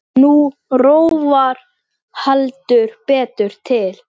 Nú rofar heldur betur til.